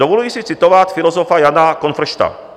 Dovoluji si citovat filozofa Jana Konfršta.